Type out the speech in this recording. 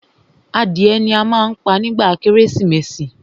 Adìẹ ni a má ń pa nígba kérésìmesì.